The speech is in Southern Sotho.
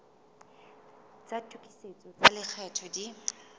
tsa tokisetso tsa lekgetho di